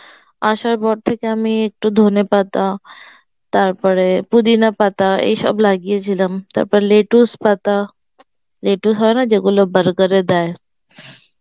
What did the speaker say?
আসার পর থেকে আমি একটু ধনেপাতা তারপরে পুদিনা পাতা এইসব লাগিয়েছিলাম তারপর লেটুস পাতা লেটু হয় না যেগুলো burger এ দেয়